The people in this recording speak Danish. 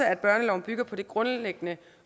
at børneloven bygger på det grundlæggende